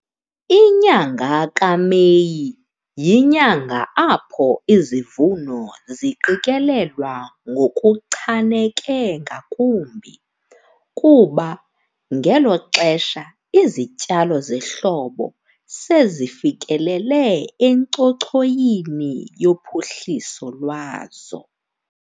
Inyanga kaMeyi yinyanga apho izivuno ziqikelelwa ngokuchaneke ngakumbi, kuba ngelo xesha izityalo zehlobo sezifikelele encochoyini yophuhliso lwazo.